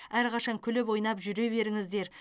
әрқашан күліп ойнап жүре беріңіздер